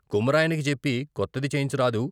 కుమ్మరాయనకి చెప్పి కొత్తది చేయించ రాదూ?